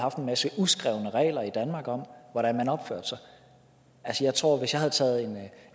haft en masse uskrevne regler i danmark om hvordan man opfører sig jeg tror at hvis jeg havde taget